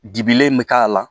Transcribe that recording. Dibilen bɛ k'a la